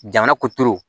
Jamana ko turu